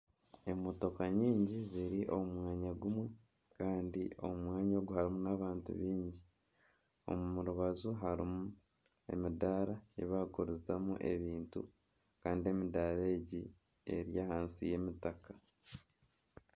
Emotoka nyingi ziri omu mwanya gumwe Kandi omu mwanya ogu harimu abantu baingi omu rubaju harimu emidaara eyi bakugurizamu ebintu kandi emidaara egi eri ahansi y'emitaka.